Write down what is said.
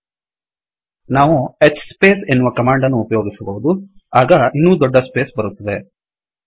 ನಾವು hspace hspace ಎನ್ನುವ ಕಮಾಂಡನ್ನು ಉಪಯೋಗಿಸಬಹುದು ಆಗ ಇನ್ನೂ ದೊಡ್ದ ಸ್ಪೇಸ್ ಬರುತ್ತದೆ